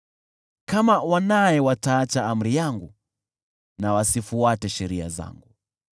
“Kama wanae wataacha amri yangu na wasifuate sheria zangu,